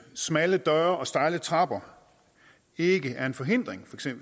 smalle døre og stejle trapper ikke er en forhindring